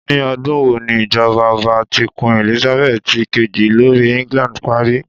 Ni ọdun wo ni ijọba ọba ti Queen Elizabeth ti keji lori England pari?